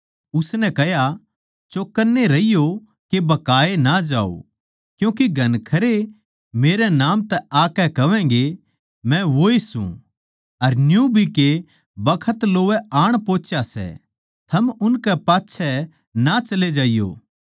उसनै कह्या चौकन्ने रहियो के भकाए ना जाओ क्यूँके घणखरे मेरै नाम तै आकै कहवैगें मै वोए सूं अर न्यू भी के बखत लोवै आण पोहुच्या सै थम उनकै पाच्छै ना चले जाइयो